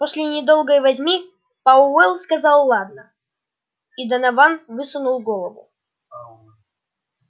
после недолгой возни пауэлл сказал ладно и донован высунул голову